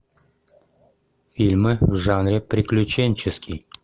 фильмы в жанре приключенческий